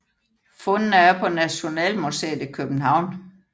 Fundene er på Nationalmuseet i København